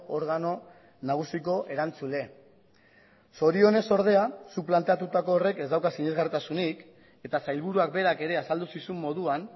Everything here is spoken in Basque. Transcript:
organo nagusiko erantzule zorionez ordea zuk planteatutako horrek ez dauka sinesgarritasunik eta sailburuak berak ere azaldu zizun moduan